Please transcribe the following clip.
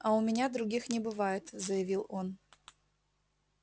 а у меня других не бывает заявил он